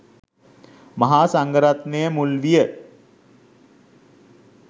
මහා සංඝරත්නය මුල් විය.